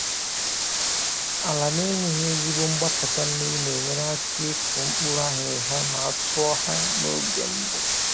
Ala na-enweghị ezigbo mgbapụta mmiri na-enyere aka ịkụ mkpụrụ aghịrịgha ma a tụọ ya n’oge mbụ.